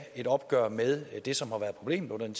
et opgør med det som har været problemet under den